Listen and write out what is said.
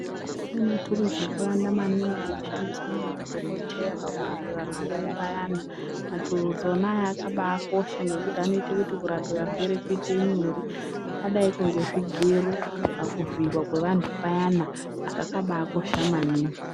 Kune maturuzi akawanda maningi anoshandiswe ngemadhokodheya pakurape varwere payana maturuzi ona aya akabaakosha ngokuti anoite kuti kurape varwere kuite nyore zvakadaikwo ngezvigero pakuvhiiwa kweantu payana zvakabaakosha maningi.